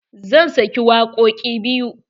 Zan sake wakoƙi biyu.